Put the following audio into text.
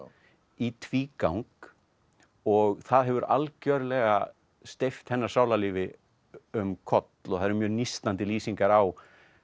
í tvígang og það hefur algjörlega steypt hennar sálarlífi um koll það eru mjög nístandi lýsingar á